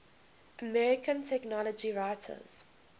american technology writers